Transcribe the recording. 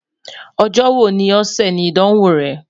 Ọjọ wo ni ọsẹ ni Idanwo rẹ?